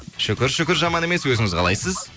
шүкір шүкір жаман емес өзіңіз қалайсыз